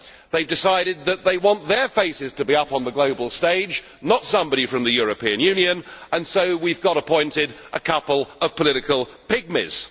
They have decided that they want their faces to be up on the global stage, not somebody from the European Union, and so we have got appointed a couple of political pygmies.